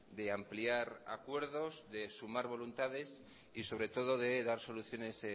de ampliar acuerdos de sumar voluntades y sobre todo de dar soluciones